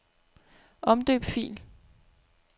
Omdøb fil.